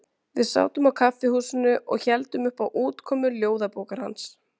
Þetta hlýtur að hafa haft mikil áhrif á ykkur öll, segir Svenni með hluttekningu.